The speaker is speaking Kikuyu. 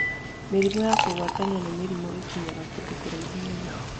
Mĩrimũ ya kũgwatanio na mĩrimũ nĩ ĩkinyaga kũndũ kũraihu mũno